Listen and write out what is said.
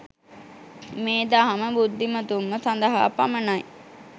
මේ දහම බුද්ධිමතුන්ම සදහා පමණයි.